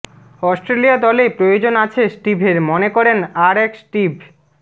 Australia দলে প্রয়োজন আছে স্টিভের মনে করেন আর এক স্টিভ